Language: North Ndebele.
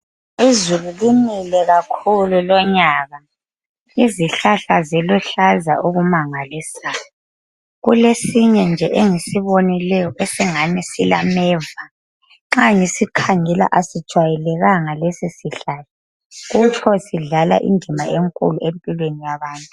Izulu linile kakhulu lonyaka izihlahla ziluhlaza okumangalisayo kulesinye nje engisibonileyo esingani silameva nxa ngisikhangela asijwayelekanga lesisihlahla kutsho sidlala indima enkulu empilweni yabantu